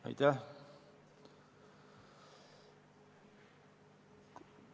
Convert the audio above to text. Aitäh!